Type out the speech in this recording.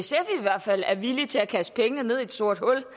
hvert fald er villige til at kaste pengene ned i et sort hul